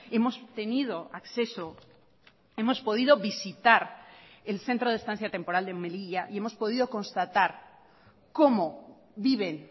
hemos tenido acceso hemos podido visitar el centro de estancia temporal de melilla y hemos podido constatar como viven